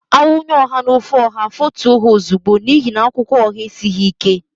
A wunye ọha n'ofe ọha, afọtue ha ozigbo n'ihi na akwụkwọ ọha esighị ike.